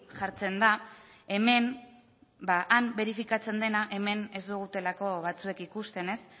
jartzen da hemen han berifikatzen dena hemen ez dutelako batzuek ikusten